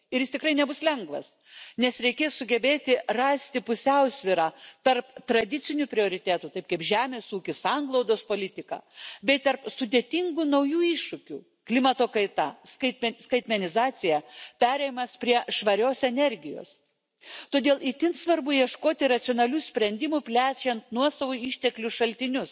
Ir jis tikrai nebus lengvas, nes reikės sugebėti rasti pusiausvyrą tarp tradicinių prioritetų taip kaip žemės ūkis, sanglaudos politika bei tarp sudėtingų naujų iššūkių klimato kaita, skaitmenizacija, perėjimas prie švarios energijos. Todėl itin svarbu ieškoti racionalių sprendimų plečiant nuosavų išteklių šaltinius.